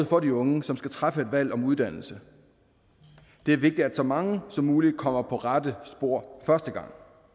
for de unge som skal træffe et valg om uddannelse det er vigtigt at så mange som muligt kommer på rette spor første gang